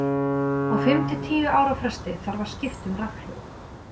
Á fimm til tíu ára fresti þarf að skipta um rafhlöður.